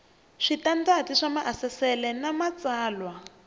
switandati swa maasesele na matsalwa